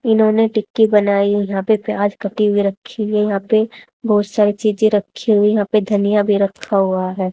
इन्होंने टिक्की बनाई यहाँ पे प्याज कटी हुई रखी हुई है यहाँ पे बहोत सारी चीजें रखी हुई यहाँ पे धनिया भी रखा हुआ हैं।